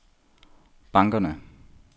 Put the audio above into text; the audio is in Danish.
bankerne